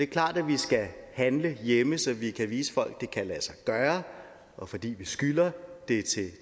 klart at vi skal handle hjemme så vi kan vise folk at det kan lade sig gøre og fordi vi skylder